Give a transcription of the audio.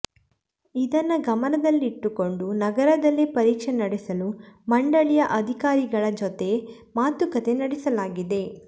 ಇದನ್ನು ಗಮನದಲ್ಲಿಟ್ಟುಕೊಂಡು ನಗರದಲ್ಲೇ ಪರೀಕ್ಷೆ ನಡೆಸಲು ಮಂಡಳಿಯ ಅಧಿಕಾರಿಗಳ ಜೊತೆ ಮಾತುಕತೆ ನಡೆಸಲಾಗಿದೆ